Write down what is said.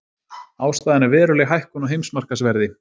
Ástæðan er veruleg hækkun á heimsmarkaðsverði